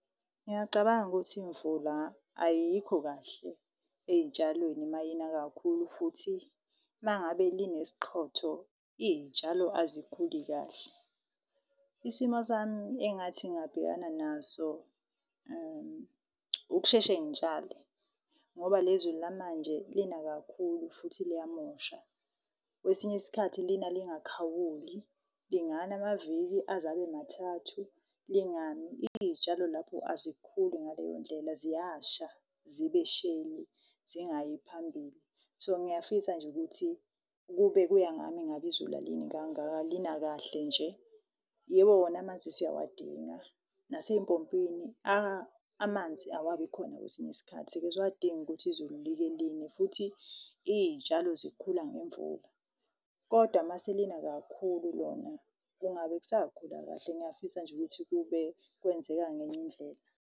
Ngiyacabanga ukuthi imvula ayikho kahle ey'tshalweni mayina kakhulu. Futhi, uma ngabe line siqhotho iy'tshalo azikhuli kahle. Isimo sami engathi ngingabhekana naso, ukusheshe ngitshale. Ngoba lelizulu lamanje, lina kakhulu futhi liyamosha. Kwesinye isikhathi, lina lingakhawuli, lingana amaviki aze abe mathathu lingami. Iy'tshalo lapho azikhuli ngaleyondlela, ziyasha , zingayi phambili. So ngiyafisa nje ukuthi, kube kuya ngami ngabe izulu alini kangaka lina kahle nje. Yebo, wona amanzi siyawadinga nasey'mpompini amanzi awabikhona kwesinye isikhathi sike siwadinga ukuthi izulu like line. Futhi iy'tshalo zikhula ngemvula, kodwa mase lina kakhulu lona kungabe kusakhula kahle. Ngiyafisa nje ukuthi kube kwenzeka ngenye indlela.